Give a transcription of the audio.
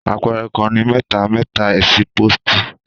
Àpẹẹrẹ kàn ni mẹtà mẹta ẹsipọti.